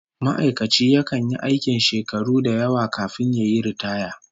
Ma'aikaci yakan yi aikin shakaru da yawa kafin yayi riitaya